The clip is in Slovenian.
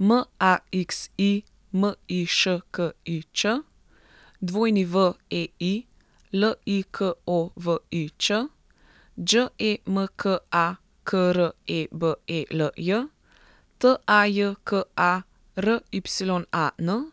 M A X I, M I Š K I Ć; W E I, L I K O V I Ć; Đ E M K A, K R E B E L J; T A J K A, R Y A N;